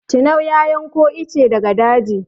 Tinau ya yanko itace daga daji.